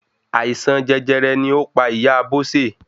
Àìsàn jẹjẹrẹ ni ó pa ìyá Bose